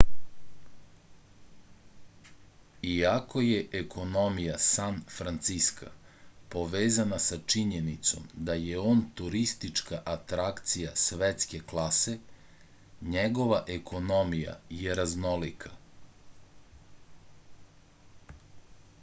iako je ekonomija san franciska povezana sa činjenicom da je on turistička atrakcija svetske klase njegova ekonomija je raznolika